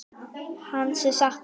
Hans er saknað.